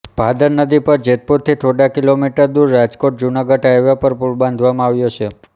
ભાદર નદી પર જેતપુરથી થોડા કિમી દૂર રાજકોટજુનાગઢ હાઇવે પર પુલ બાંધવામાં આવ્યો છે